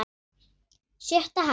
Sjötta hæð.